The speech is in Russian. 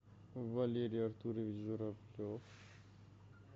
валерий артурович журавлев